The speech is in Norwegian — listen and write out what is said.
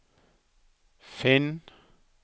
finn